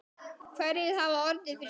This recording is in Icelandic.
Hverjir hafa orðið fyrir skaða?